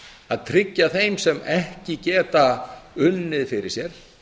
að tryggja þeim sem ekki geta unnið fyrir sér